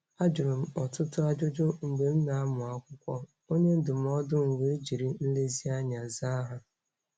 Ajụrụ m ọtụtụ ajụjụ mgbe m na-amụ akwụkwọ, onye ndụmọdụ m wee jiri nlezianya zaa ha.